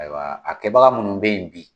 Ayiwa a kɛbaga minnu be yen bi